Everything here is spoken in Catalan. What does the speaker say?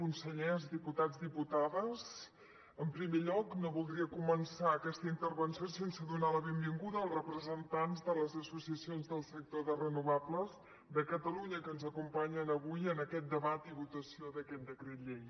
consellers diputats diputades en primer lloc no voldria començar aquesta intervenció sense donar la benvinguda als representants de les associacions del sector de renovables de catalunya que ens acompanyen avui en aquest debat i votació d’aquest decret llei